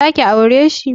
Zaki aure shi?